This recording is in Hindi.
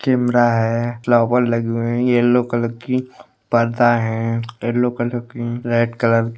कैमरा है फ्लावर लगे हुए हैं येलो कलर की पर्दा है येलो कलर की रेड कलर --